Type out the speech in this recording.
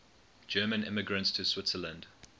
german immigrants to switzerland